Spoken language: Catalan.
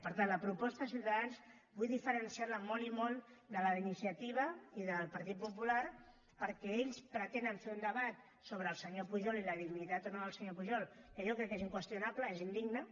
per tant la proposta de ciutadans vull diferenciar la molt i molt de la d’iniciativa i de la del partit popular perquè ells pretenen fer un debat sobre el senyor pujol i la dignitat o no del senyor pujol que jo crec que és inqüestionable és indigne